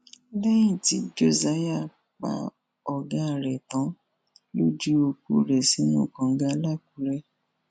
lẹyìn tí josiah pa ọgá rẹ tán ló ju òkú rẹ sínú kànga làkùrẹ